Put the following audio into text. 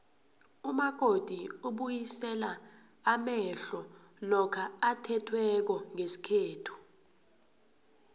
umakoti ubuyisela amehlo lokha athethweko ngesikhethu